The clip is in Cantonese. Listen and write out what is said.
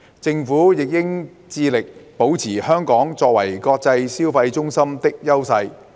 政府亦應致力保持香港作為國際消費中心的優勢。